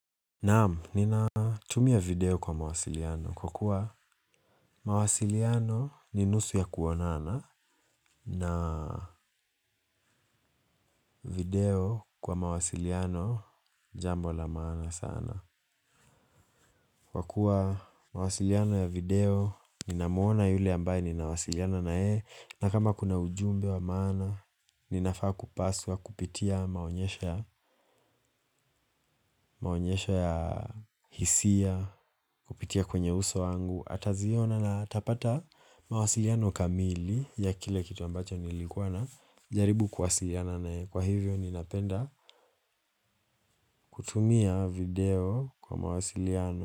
Naam, ninatumia video kwa mawasiliano kwa kuwa mawasiliano ni nusu ya kuonana na video kwa mawasiliano jambo la maana sana. Kwa kuwa mawasiliano ya video, ninamuona yule ambaye ninawasiliana naye, na kama kuna ujumbe wa maana, ninafaa kupaswa kupitia maonyesho ya maonyesha ya hisia, kupitia kwenye uso wangu. Ataziona na atapata mawasiliano kamili ya kile kitu ambacho nilikuwa najaribu kuwasiliana naye, kwa hivyo ninapenda kutumia video kwa mawasiliano.